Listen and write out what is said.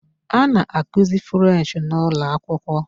A na-akụzi 'French' n'ụlọakwụkwọ.